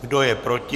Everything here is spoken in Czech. Kdo je proti?